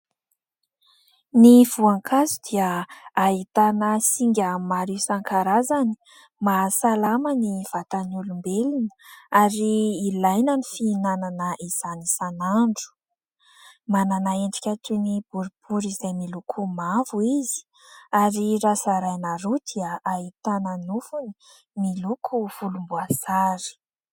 Ny voankazo dia ahitana singa maro isan-karazany mahasalama ny vatan'ny olombelona, ary ilaina ny fihinanana izany isanandro. Manana endrika toy ny boribory izay miloko mavo izy ary raha zaraina roa dia hahitana ny nofony miloko volomboasary.